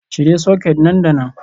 Cire soket nan da nan.